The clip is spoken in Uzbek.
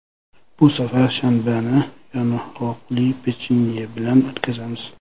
Bu safar shanbani yong‘oqli pechenye bilan o‘tkazamiz.